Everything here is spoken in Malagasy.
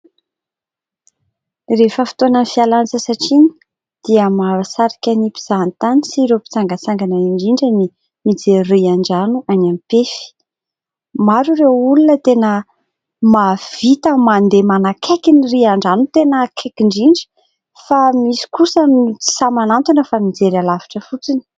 Rehefa fotoanan'ny fialan-tsasatra iny dia mahasarika ny mpizahatany sy ireo mpitsangatsangana indrindra, ny mijery riandrano any Ampefy, maro ireo olona tena mahavita mandeha manakaiky ny riandrano tena akaiky indrindra, fa misy kosa no tsy sahy manantona, fa mijery alavitra fotsiny.